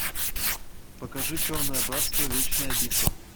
покажи черное братство вечная битва